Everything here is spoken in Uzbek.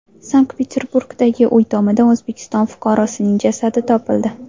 Sankt-Peterburgdagi uy tomida O‘zbekiston fuqarosining jasadi topildi.